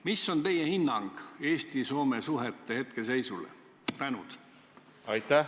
Mis on teie hinnang Eesti ja Soome suhete hetkeseisule?